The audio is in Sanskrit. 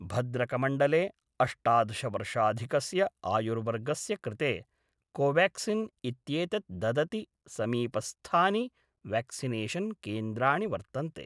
भद्रकमण्डले अष्टादशवर्षाधिकस्य आयुर्वर्गस्य कृते कोवेक्सिन् इत्येतत् ददति समीपस्थानि वेक्सिनेशन् केन्द्राणि वर्तन्ते